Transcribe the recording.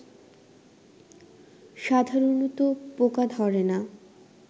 সাধারণত পোকা ধরে না